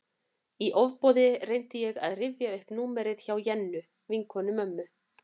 Í ofboði reyndi ég að rifja upp númerið hjá Jennu, vinkonu mömmu.